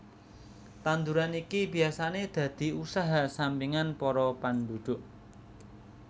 Tanduran iki biyasané dadi usaha sampingan para panduduk